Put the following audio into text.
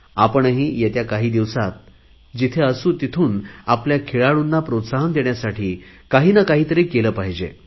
आपणही येत्या काही दिवसात जिथे असू तिथून आपल्या खेळाडूंना प्रोत्साहन देण्यासाठी काही ना काहीतरी केले पाहिजे